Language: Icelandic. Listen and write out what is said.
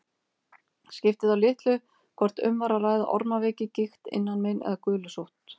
Skipti þá litlu hvort um var að ræða ormaveiki, gigt, innanmein eða gulusótt.